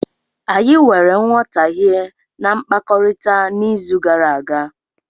Anyị nwere nghọtahie na mkpakọrịta n'izu gara aga.